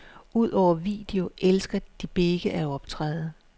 Udover video elsker de begge at optræde.